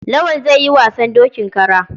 Lawal zai yi wasan dokin kara.